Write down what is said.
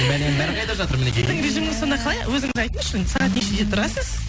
бәленің бәрі қайда жатыр мәнекей режиміңіз сонда қалай өзіңіз айтыңызшы енді сағат нешеде тұрасыз